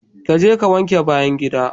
Kaje ka wanke bayan gida.